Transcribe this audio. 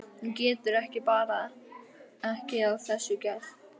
Hún getur bara ekki að þessu gert.